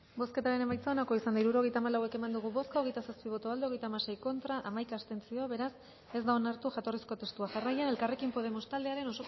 bozketaren emaitza onako izan da hirurogeita hamalau eman dugu bozka hogeita zazpi boto aldekoa hogeita hamasei contra hamaika abstentzio beraz ez da onartu jatorrizko testua jarraian elkarrekin podemos taldearen